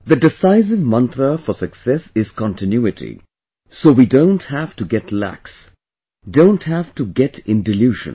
The decisive mantra for success is continuity, so we don't have to get lax, don't have to get in delusion